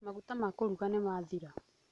Maguta ma kũruga nĩ mathira.